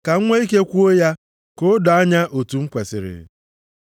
ka m nwee ike kwuo ya ka o doo anya otu m kwesiri.